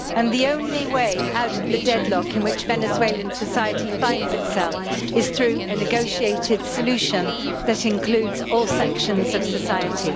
The only way out of the deadlock in which Venezuelan society finds itself is through a negotiated solution that includes all sections of society.